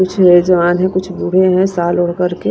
कुछ जवान है कुछ बूढ़े हैं साल और--